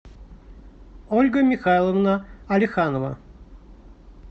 ольга михайловна алиханова